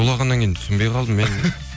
шулағаннан кейін түсінбей қалдым мен